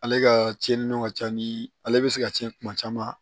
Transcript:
Ale ka tiɲɛni don ka ca ni ale bɛ se ka tiɲɛ kuma caman